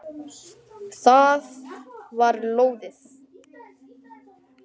Það var lóðið!